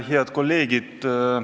Head kolleegid!